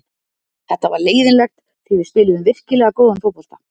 Þetta var leiðinlegt því við spiluðum virkilega góðan fótbolta.